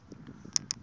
tlhelo ra vito ra n